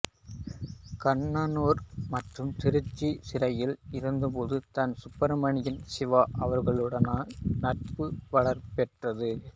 கண்ணனூர் மற்றும் திருச்சி சிறையில் இருந்தபோது தான் சுப்ரமணிய சிவா அவர்களுடனான நட்பு வலுப்பெற்றது